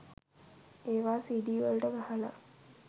ඒවා සීඞීවලට ගහලා